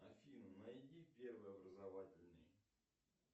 афина найди первый образовательный